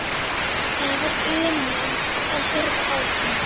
Það var unun að horfa á hann.